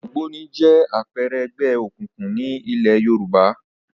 Ògbóni jẹ́ àpẹẹrẹ ẹgbẹ́ òkùnkùn ní ilẹ̀ Yorùbá